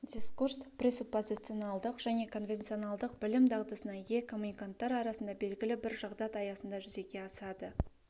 дискурс пресуппозиционалдық және конвенционалдық білім дағдысына ие коммуниканттар арасында белгілі бір жағдаят аясында жүзеге асады